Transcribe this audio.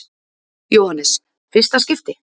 Jóhannes: Fyrsta skipti?